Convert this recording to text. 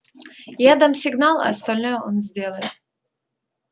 я дам сигнал а остальное он сделает